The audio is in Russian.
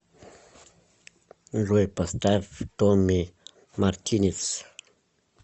джой поставь томми мартинез